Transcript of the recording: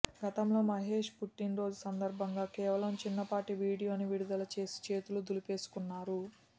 గతంలో మహేష్ పుట్టినరోజు సందర్భంగా కేవలం చిన్నపాటి వీడియో ని విడుదల చేసి చేతులు దులిపేసుకున్నారు